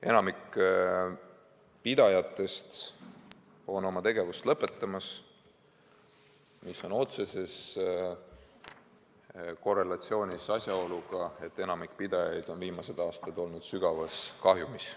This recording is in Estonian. Enamik pidajatest on oma tegevust lõpetamas, mis on otseses korrelatsioonis asjaoluga, et enamik pidajaid on viimased aastad olnud sügavas kahjumis.